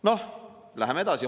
Noh, lähme edasi.